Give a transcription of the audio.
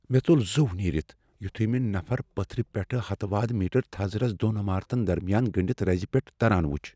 مے٘ ژول زُو نیرِتھ یُتھُے مے نفر پتھرِ پیٹھٕ ہتہٕ وادٕ میٹر تھزرس دون عمارتن درمِیان گنڈِتھ رٕزِ پیٹھہِ تران وُچھ ۔